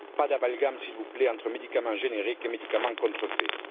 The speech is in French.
Pas d'amalgame s'il vous plaît entre médicaments génériques et médicaments contrefaits.